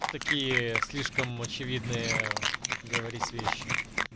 такие слишком очевидные говорить вещи